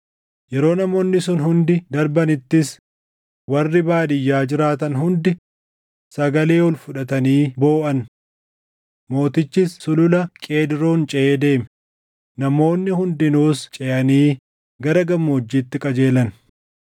Yeroo namoonni sun hundi darbanittis warri baadiyyaa jiraatan hundi sagalee ol fudhatanii booʼan. Mootichis Sulula Qeedroon ceʼee deeme; namoonni hundinuus ceʼanii gara gammoojjiitti qajeelan.